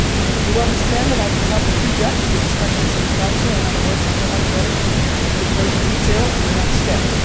hours. You will understand that I cannot prejudge the discussions in the Council, in other words, I cannot go into greater detail on the next